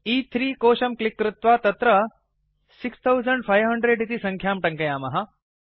A3 कोशं click कृत्वा तत्र 6500 इति संख्यां टङ्कयामः